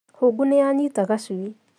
Hũngũnĩyanyita gacui